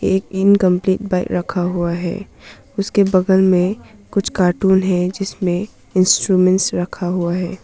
एक incomplete bike रखा हुआ है। उसके बगल में कुछ कार्टून हैं जिसमें इंस्ट्रूमेंट रखा हुआ है।